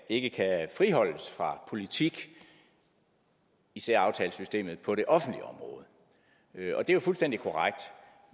ikke kan friholdes fra politik især aftalesystemet på det offentlige område det er fuldstændig korrekt